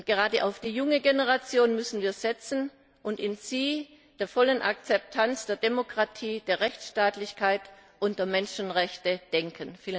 Gerade auf die junge Generation müssen wir setzen und an sie bei der vollen Akzeptanz der Demokratie, der Rechtsstaatlichkeit und der Menschenrechte denken!